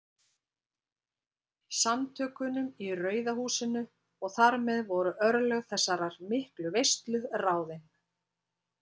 Samtökunum í Rauða húsinu og þar með voru örlög þessarar miklu veislu ráðin.